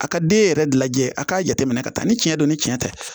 A ka den yɛrɛ lajɛ a k'a jateminɛ ka taa ni tiɲɛ don ni tiɲɛ tɛ